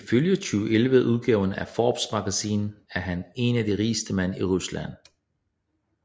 Ifølge 2011 udgaven af Forbes Magazine er han en af de rigeste mænd i Rusland